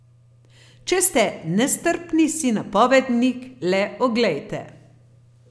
Če ste nestrpni, si napovednik le oglejte.